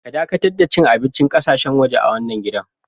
Ka dakatar da cin abincin ƙasashen waje a wanan gidan.